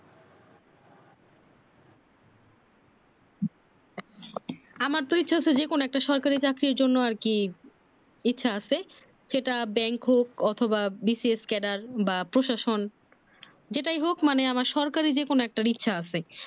আমারতো ইচ্ছে হচ্ছে যে কোনো একটা সরকারি চাকরিরন জন্য আরকি ইচ্ছা আছে সেটা bank হোক অথবা BCS keder বা প্রশাসন যেতে হোক মানে আমার সরকারি যে কোনো একটার ইচ্ছা আছে